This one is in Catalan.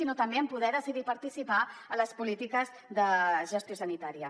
sinó també en poder decidir participar en les polítiques de gestió sanitària